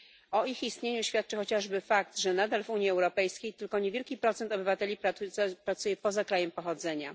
O ich istnieniu świadczy chociażby fakt, że nadal w Unii Europejskiej tylko niewielki procent obywateli pracuje poza krajem pochodzenia.